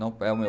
Não, é o meu.